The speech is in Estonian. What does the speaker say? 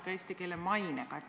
– ka eesti keele mainega.